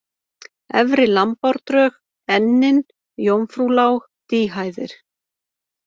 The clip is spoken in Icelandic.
Efri Lambárdrög, Ennin, Jómfrúlág, Dýhæðir